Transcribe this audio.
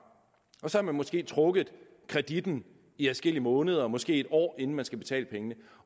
så har de måske trukket kreditten i adskillige måneder måske et år inden de skal betale pengene